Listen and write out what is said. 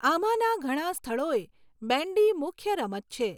આમાંના ઘણા સ્થળોએ બેન્ડી મુખ્ય રમત છે.